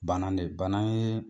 Banan de Banan yee